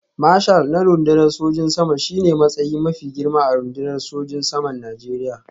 Marshal na rundunar sojin sama shi ne matsayi mafi girma a rundunar sojin saman Najeriya